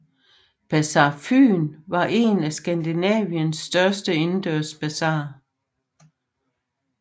Bazar Fyn var en af Skandinaviens største indendørs basarer